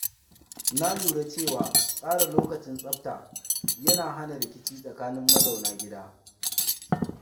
Na lura cewa tsara lokacin tsabta yana hana rikici tsakanin mazauna gida.